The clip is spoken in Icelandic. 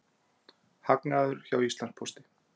Hagnaður hjá Íslandspósti